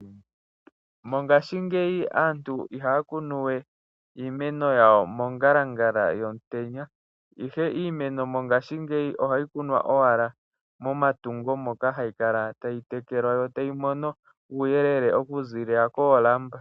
Mongashingeyi aantu ihaya kunu we iimeno yawo mongalangala yomutenya, ihe iimeno mongashingeyi ohayi kunwa owala momatungo moka hayi kala tayi tekelwa, yo tayi mono uuyelele oku zilila koolamba.